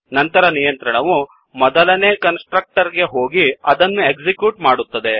ನಂತರ ನಿಯಂತ್ರಣವು ಮೊದಲನೇ ಕನ್ಸ್ ಟ್ರಕ್ಟರ್ ಗೆ ಹೋಗಿ ಅದನ್ನು ಎಕ್ಸಿಕ್ಯೂಟ್ ಮಾಡುತ್ತದೆ